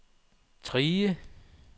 Trige